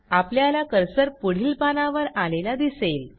आपल्याला कर्सर पुढील पानावर आलेला दिसेल